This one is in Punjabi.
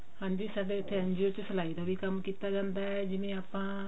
ਹਾਂਜੀ ਸਾਡੇ ਇੱਥੇ NGO ਚ ਸਲਾਈ ਦਾ ਵੀ ਕੰਮ ਕੀਤਾ ਜਾਂਦਾ ਹੈ ਜਿਵੇਂ ਆਪਾਂ